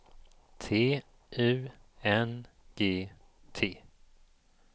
T U N G T